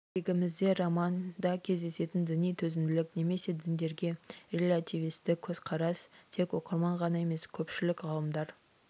кезегімізде романда кездесетін діни төзімділік немесе діндерге релятивистік көзқарас тек оқырман ғана емес көпшілік ғалымдар